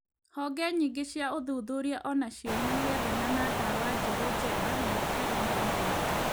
Honge nyingĩ cia ũthuthuria o nacio nĩ irethana na ndawa njerũ njega na itarĩ na ũgwati.